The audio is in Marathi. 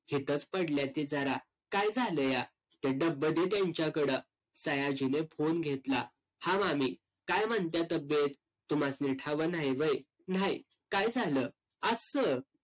पडल्या ती जरा. काय झालंया? ते डब्बं दे तेंच्याकडं. सयाजीने phone घेतला. हा मामी, काय म्हणत्या तब्येत? तुम्हासणी ठावं न्हाई व्हय? न्हाई. काय झालं? अस्सं?